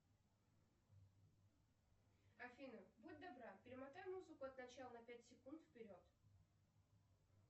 афина будь добра перемотай музыку от начала на пять секунд вперед